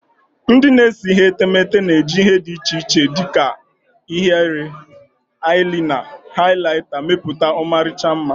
Ndị na-ese etemeete na-eji ihe dị iche iche dị ka ihiere, eyelina, and highlighta mepụta ọmarịcha mma.